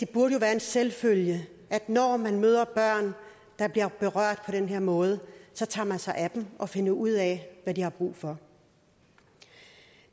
burde være en selvfølge at når man møder børn der bliver berørt på den her måde så tager man sig af dem og finder ud af hvad de har brug for